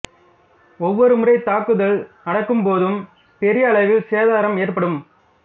ஒவ்வொரு முறை தாக்குதல் நடக்கும்போதும் பெரிய அளவில் சேதாரம் ஏற்படும்